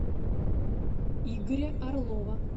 игоря орлова